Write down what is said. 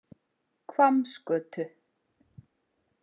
Hvammsgötu